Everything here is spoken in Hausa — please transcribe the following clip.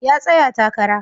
Ya tsaya takara